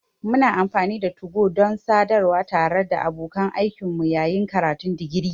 Muna amfani da 2go don sadarwa tare da abokan aikinmu yayin karatun digiri.